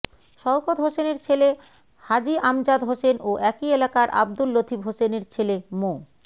শওকত হোসেনের ছেলে হাজি আমজাদ হোসেন ও একই এলাকার আবদুল লতিফ হোসেনের ছেলে মো